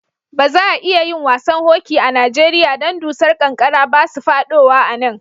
Ba za'a iya yin wasan hoki a Nijeriya dan dusar kankara ba su fadowa a'nan.